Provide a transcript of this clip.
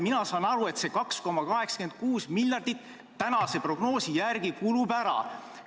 Mina saan aru, et tänase prognoosi järgi see 2,86 miljardit kulub ära.